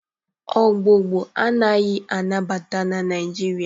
Ogbugbu anaghị anabata na Naịjirịa